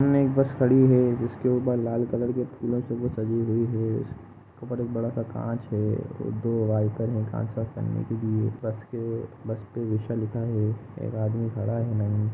सामने एक बस खड़ी हे जिसके ऊपर लाल कलर के फूलों से वो सजी हुई हे ऊपर एक बड़ा सा कांच हे ओर दो वाईपर हे कांच साफ करने के लिए बस के बस पे विषा लिखा हे एक आदमी खड़ा हे।